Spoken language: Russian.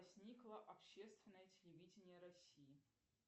возникло общественное телевидение россии